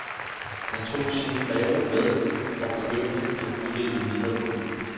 Han tog sin reol med, og begyndt at udvikle videre på den.